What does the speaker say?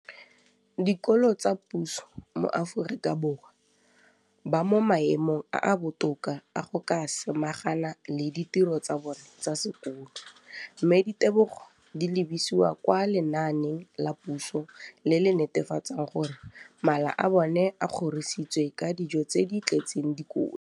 dikolo tsa puso mo Aforika Borwa ba mo maemong a a botoka a go ka samagana le ditiro tsa bona tsa sekolo, mme ditebogo di lebisiwa kwa lenaaneng la puso le le netefatsang gore mala a bona a kgorisitswe ka dijo tse di tletseng dikotla.